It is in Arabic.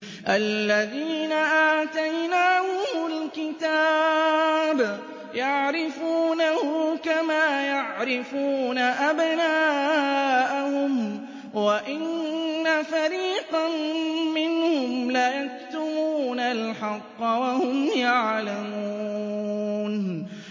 الَّذِينَ آتَيْنَاهُمُ الْكِتَابَ يَعْرِفُونَهُ كَمَا يَعْرِفُونَ أَبْنَاءَهُمْ ۖ وَإِنَّ فَرِيقًا مِّنْهُمْ لَيَكْتُمُونَ الْحَقَّ وَهُمْ يَعْلَمُونَ